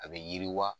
A bɛ yiriwa